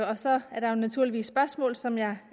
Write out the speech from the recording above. og så er der naturligvis spørgsmål som jeg